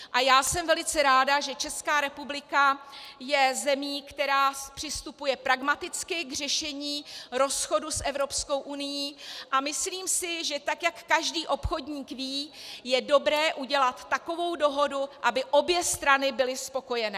A já jsem velice ráda, že Česká republika je zemí, která přistupuje pragmaticky k řešení rozchodu s Evropskou unií, a myslím si, že tak jak každý obchodník ví, je dobré udělat takovou dohodu, aby obě strany byly spokojené.